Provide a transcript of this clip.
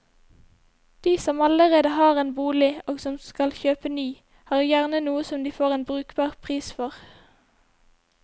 De som allerede har en bolig og som skal kjøpe ny, har gjerne noe som de får en brukbar pris for.